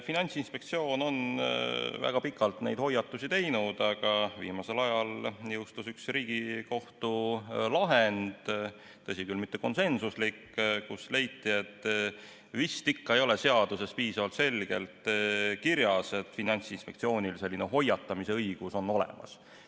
Finantsinspektsioon on väga pikalt neid hoiatusi teinud, aga hiljuti jõustus üks Riigikohtu lahend – tõsi küll, mitte konsensuslik –, milles leiti, et vist ikka ei ole seaduses piisavalt selgelt kirjas, et Finantsinspektsioonil on selline hoiatamise õigus olemas.